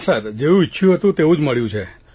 જેવું ઇચ્છયું હતું તેવું જ મળ્યું છે